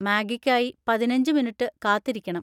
മാഗിക്കായി പതിനഞ്ച് മിനിറ്റ് കാത്തിരിക്കണം.